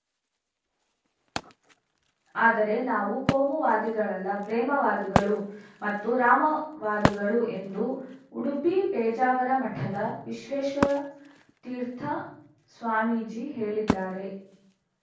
ಆದರೆ ನಾವು ಕೋಮುವಾದಿಗಳಲ್ಲ ಪ್ರೇಮವಾದಿಗಳು ಮತ್ತು ರಾಮವಾದಿಗಳು ಎಂದು ಉಡುಪಿ ಪೇಜಾವರ ಮಠದ ವಿಶ್ವೇಶತೀರ್ಥ ಸ್ವಾಮೀಜಿ ಹೇಳಿದ್ದಾರೆ